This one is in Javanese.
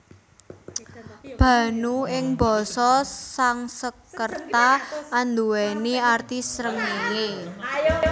Bhanu ing basa Sangskerta anduwèni arti srengéngé